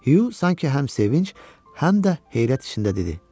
Hü sanki həm sevinc, həm də heyrət içində dedi.